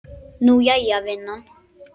Nú, jæja, vinan.